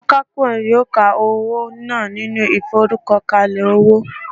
Akapo yoo ka owo naa ninu iforukokale owo